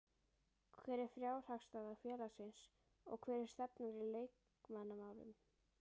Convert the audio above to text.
Hver er fjárhagsstaða félagsins og hver er stefnan í leikmannamálum?